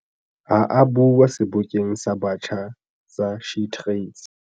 Ha a bua Sebokeng sa Batjha sa SheTrades.